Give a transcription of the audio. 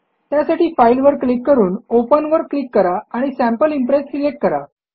त्यासाठी फाइल वर क्लिक करून ओपन वर क्लिक करा आणि सॅम्पल इम्प्रेस सिलेक्ट करा